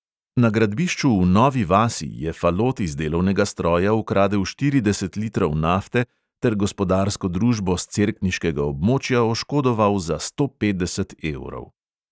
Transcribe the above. Na gradbišču v novi vasi je falot iz delovnega stroja ukradel štirideset litrov nafte ter gospodarsko družbo s cerkniškega območja oškodoval za sto petdeset evrov.